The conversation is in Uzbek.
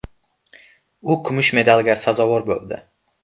U kumush medalga sazovor bo‘ldi.